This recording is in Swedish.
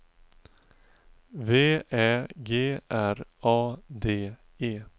V Ä G R A D E